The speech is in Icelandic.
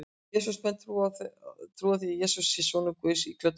Kristnir menn trúa því að Jesús sé sonur Guðs íklæddur holdi manns.